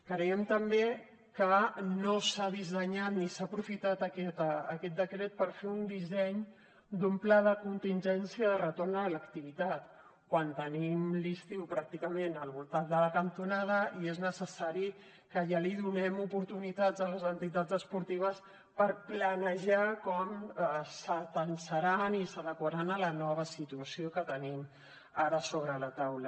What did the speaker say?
creiem també que no s’ha dissenyat ni s’ha aprofitat aquest decret per fer un disseny d’un pla de contingència de retorn a l’activitat quan tenim l’estiu pràcticament al voltat de la cantonada i és necessari que ja donem oportunitats a les entitats esportives per planejar com s’atansaran i s’adequaran a la nova situació que tenim ara sobre la taula